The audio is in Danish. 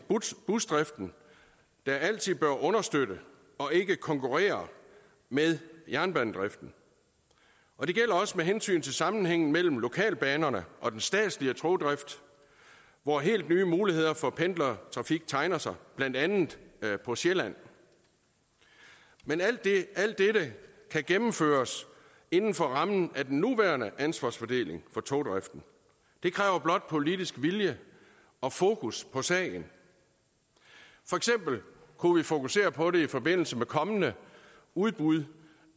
busdriften der altid bør understøtte og ikke konkurrere med jernbanedriften og det gælder også med hensyn til sammenhængen mellem lokalbanerne og den statslige togdrift hvor helt nye muligheder for pendlertrafik tegner sig blandt andet på sjælland men alt dette kan gennemføres inden for rammen af den nuværende ansvarsfordeling for togdriften det kræver blot politisk vilje og fokus på sagen for eksempel kunne vi fokusere på det i forbindelse med kommende udbud